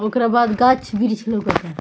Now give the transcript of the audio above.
ओकरा बाद गाछ-बृक्ष लोकता।